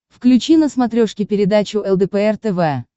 включи на смотрешке передачу лдпр тв